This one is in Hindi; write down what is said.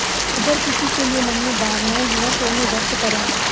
अगर किसी के लिए मन में भावनाएं हैं तो उन्हें व्यक्त करें